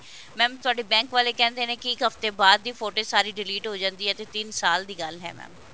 mam ਤੁਹਾਡੇ bank ਵਾਲੇ ਕਹਿੰਦੇ ਨੇ ਕਿ ਇੱਕ ਹਫਤੇ ਬਾਅਦ ਦੀ footage ਸਾਰੀ delete ਹੋ ਜਾਂਦੀ ਹੈ ਤੇ ਤਿੰਨ ਸਾਲ ਦੀ ਗੱਲ ਹੈ mam